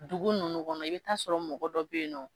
Dugu nunnu kɔnɔ i bɛ t'a sɔrɔ mɔgɔ dɔ bɛ yen nɔ